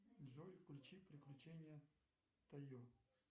джой включи приключения тойо